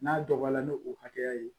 N'a dɔgɔya ni o hakɛya ye